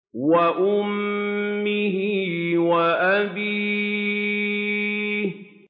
وَأُمِّهِ وَأَبِيهِ